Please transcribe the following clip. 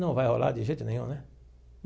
Não vai rolar de jeito nenhum, né?